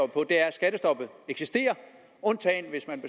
skattestoppet eksisterer undtagen hvis man